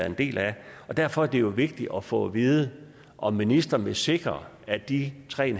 en del af derfor er det jo vigtigt at få at vide om ministeren vil sikre at de tre